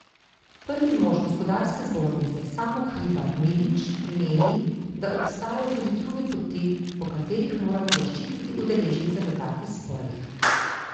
Prvi mož Gospodarske zbornice Samo Hribar Milič meni, da obstajajo tudi druge poti, po katerih moramo zaščititi udeležence v takih sporih.